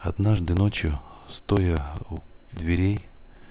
однажды ночью стоя у дверей